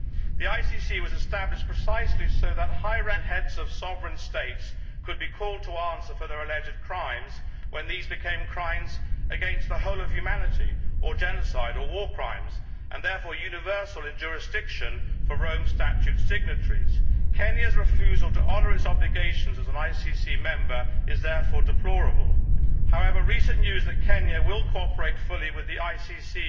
The ICC was established precisely so that high ranking officials, even heads of sovereign states, could be called to answer for their alleged crimes when these became crimes against the whole of humanity, or genocide, or war crimes and therefore subject to universal jurisdiction for Rome Statute signatories. Kenya's refusal to honour its obligations as an ICC member is therefore deplorable. However, recent news that Kenya will cooperate fully with the ICC